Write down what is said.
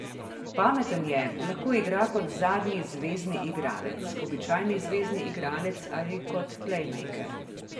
Pameten je, lahko igra kot zadnji zvezni igralec, običajni zvezni igralec ali kot plejmejker.